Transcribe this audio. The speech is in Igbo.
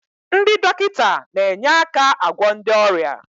Ndị dọkịta na-enye aka agwọ ndị ọrịa